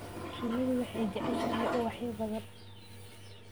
Shinnidu waxay jeceshahay ubaxyo badan.